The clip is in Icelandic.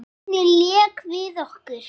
Lánið lék við okkur.